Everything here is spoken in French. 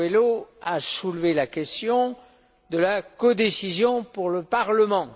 Coelho a soulevé la question de la codécision pour le Parlement.